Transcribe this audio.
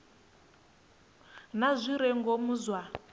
na zwi re ngomu zwa